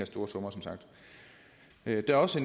store summer der er også